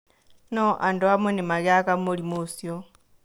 No andũ amwe nĩ magĩaga mũrimũ ũcio.